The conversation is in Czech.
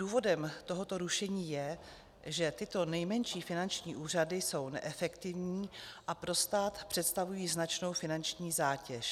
Důvodem tohoto rušení je, že tyto nejmenší finanční úřady jsou neefektivní a pro stát představují značnou finanční zátěž.